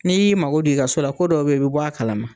N'i y'i mago don i ka so la, ko dɔw be yen i bi bɔ a kalama.